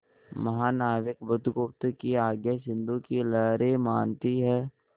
महानाविक बुधगुप्त की आज्ञा सिंधु की लहरें मानती हैं